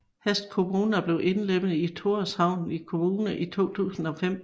Hests kommuna blev indlemmet i Tórshavnar kommuna i 2005